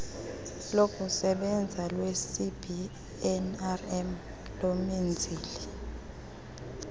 lokusebenza lwecbnrm lomenzeli